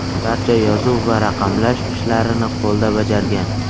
Barcha yozuv va raqamlash ishlarini qo‘lda bajargan.